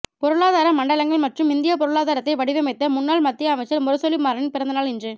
பொருளாதார மண்டலங்கள் மற்றும் இந்திய பொருளாதாரத்தை வடிவமைத்த முன்னாள் மத்திய அமைச்சர் முரசொலி மாறனின் பிறந்த நாள் இன்று